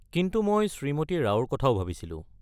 কিন্তু মই শ্ৰীমতী ৰাওৰ কথাও ভাবিছিলোঁ।